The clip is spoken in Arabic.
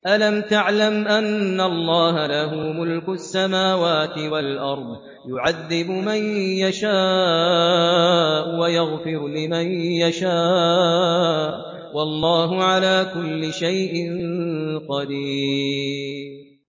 أَلَمْ تَعْلَمْ أَنَّ اللَّهَ لَهُ مُلْكُ السَّمَاوَاتِ وَالْأَرْضِ يُعَذِّبُ مَن يَشَاءُ وَيَغْفِرُ لِمَن يَشَاءُ ۗ وَاللَّهُ عَلَىٰ كُلِّ شَيْءٍ قَدِيرٌ